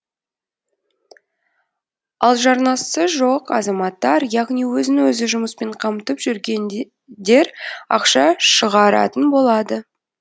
ал жарнасы жоқ азаматтар яғни өзін өзі жұмыспен қамтып жүргендер ақша шығаратын болады